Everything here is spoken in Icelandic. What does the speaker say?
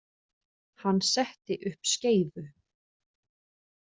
Hann setti upp skeifu.